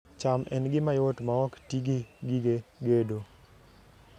cham en gima yot maok ti gi gige gedo